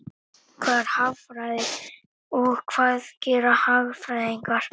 Hvað er hagfræði og hvað gera hagfræðingar?